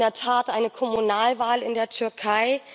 Es gab in der Tat eine Kommunalwahl in der Türkei.